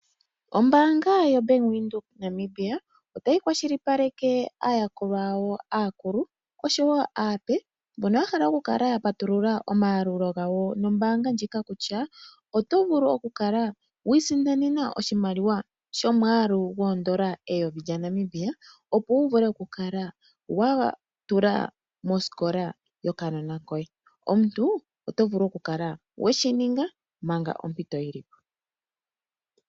Ombaanga yoBank Windhoek Namibia otayi kwashilipaleke aayakulwa yawo aakulu nosho wo aape, mbono ya hala oku kala ya patulula omayalulo gawo nombaanga ndjika kutya oto vulu okukala wi isindanene oshimaliwa shomwaalu goondola eyovi lyaNamibia, opo wu kale wa tula mosikola yokanona koye. Omuntu oto vulu okukala we shi ninga manga ompito yi li po.